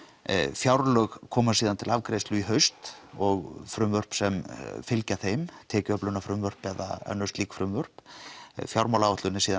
fjárlög koma síðan til afgreiðslu í haust og frumvörp sem fylgja þeim tekjuöflunarfrumvörp eða önnur slík frumvörp fjármálaáætlun er síðan